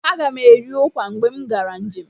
Agam eri ụkwa mgbe m gara njem.